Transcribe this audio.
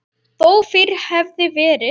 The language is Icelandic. Þó fyrr hefði verið.